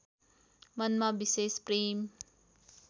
मनमा विशेष प्रेम